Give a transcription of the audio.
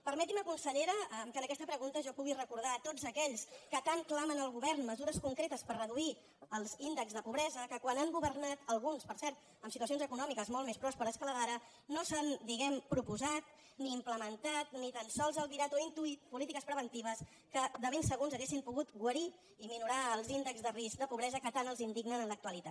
permeti’m consellera que en aquesta pregunta jo pugui recordar a tots aquells que tant clamen al govern mesures concretes per reduir els índexs de pobresa que quan han governat alguns per cert amb situacions econòmiques molt més pròsperes que la d’ara no s’han diguem ne proposat ni implementat ni tan sols albirat o intuït polítiques preventives que de ben segur ens haurien pogut guarir i minorar els índexs de risc de pobresa que tant els indignen en l’actualitat